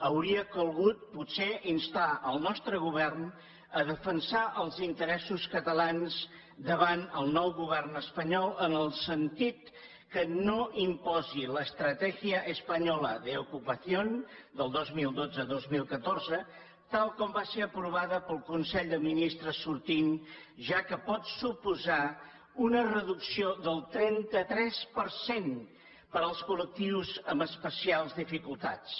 hauria calgut potser instar el nostre govern a defensar els interessos catalans davant el nou govern espanyol en el sentit que no imposi l’estrategia española de empleo del dos mil dotze dos mil catorze tal com va ser aprovada pel consell de ministres sortint ja que pot suposar una reducció del trenta tres per cent per als col·lectius amb especials dificultats